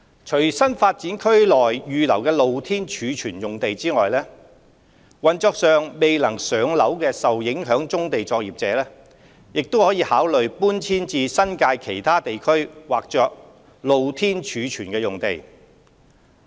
除新發展區內預留的露天貯物用地外，運作上未能"上樓"的受影響棕地作業者亦可考慮搬遷至新界其他地區劃作"露天貯物"的用地。